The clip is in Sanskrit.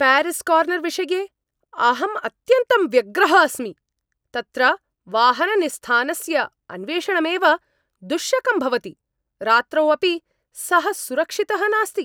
प्यारीस्कार्नर् विषये अहम् अत्यन्तं व्यग्रः अस्मि।,तत्र वाहननिस्थानस्य अन्वेषणमेव दुश्शकं भवति, रात्रौ अपि सः सुरक्षितः नास्ति।